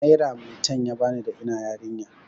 Naira maitan ya bani da ina yarinya.